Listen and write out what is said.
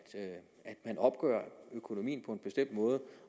man opgør økonomien på en bestemt måde